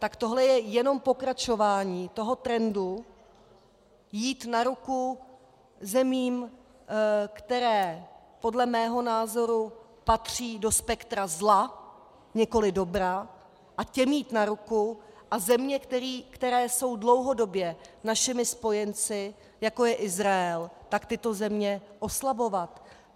Tak tohle je jenom pokračování toho trendu jít na ruku zemím, které podle mého názoru patří do spektra zla, nikoli dobra, a těm jít na ruku, a země, které jsou dlouhodobě našimi spojenci, jako je Izrael, tak tyto země oslabovat.